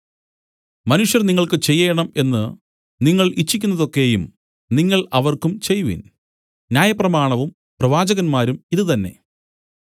മനുഷ്യർ നിങ്ങൾക്ക് ചെയ്യേണം എന്നു നിങ്ങൾ ഇച്ഛിക്കുന്നതൊക്കെയും നിങ്ങൾ അവർക്കും ചെയ്‌വിൻ ന്യായപ്രമാണവും പ്രവാചകന്മാരും ഇതു തന്നേ